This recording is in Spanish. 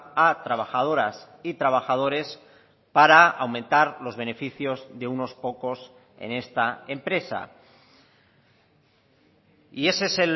a trabajadoras y trabajadores para aumentar los beneficios de unos pocos en esta empresa y ese es